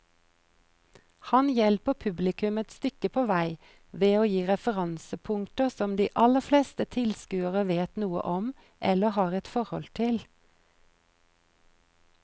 Han hjelper publikum et stykke på vei ved å gi referansepunkter som de aller fleste tilskuere vet noe om eller har et forhold til.